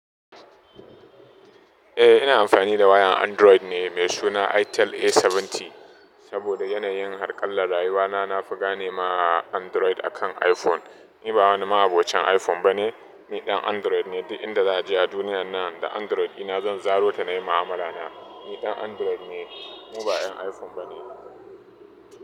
Eh ina amfani da wayan Android ne mai suna Itel A70 saboda yanayin harƙallar rayuwa na. Na fi gane ma Android akan iPhone. Ni ba wani ma'abocin iPhone bane, ni ɗan Android ne. Duk inda za a je a duniya nan da Android ɗina zan zarota na yi mu'amala na. Ni ɗan Android ne, ni ba 'yan iPhone bane.